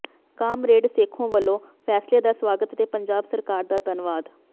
comrade Sekhon ਵੱਲੋਂ ਫੈਸਲੇ ਦਾ ਸਵਾਗਤ ਤੇ ਪੰਜਾਬ ਸਰਕਾਰ ਦਾ ਧੰਨਵਾਦ